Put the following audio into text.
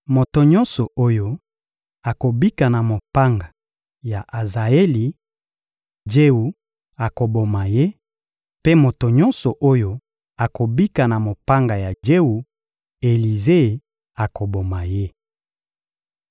Moto nyonso oyo akobika na mopanga ya Azaeli, Jewu akoboma ye; mpe moto nyonso oyo akobika na mopanga ya Jewu, Elize akoboma ye.